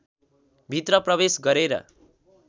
भित्र प्रवेश गरेर